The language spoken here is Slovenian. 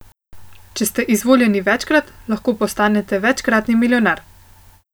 Če ste izvoljeni večkrat, lahko postanete večkratni milijonar.